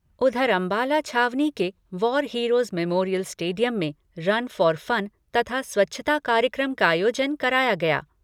उधर अम्बाला छावनी के वॉर हीरोज मेमोरियल स्टेडियम में रन फॉर फ़न तथा स्वच्छता कार्यक्रम का आयोजन कराया गया।